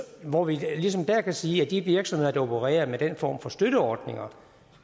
hvor vi ligesom der kan sige at de virksomheder der opererer med den form for støtteordninger